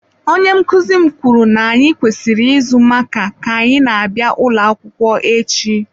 Onye nkuzi m kwuru na anyị kwesịrị ịzụ makaa ka anyị na-abịa n'ụlọ akwụkwọ echi.